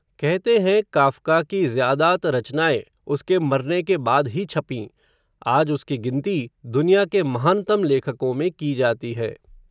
कहते हैं काफ़्का की ज़्यादात रचनाएँ, उसके मरने के बाद ही छपीं, आज उसकी गिनती, दुनिया के महानतम लेखकों में की जाती है